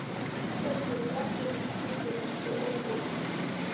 ntushula ormuziki le selempo